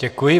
Děkuji.